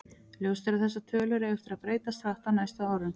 Ljóst er að þessar tölur eiga eftir að breytast hratt á næstu árum.